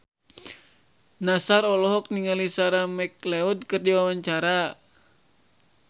Nassar olohok ningali Sarah McLeod keur diwawancara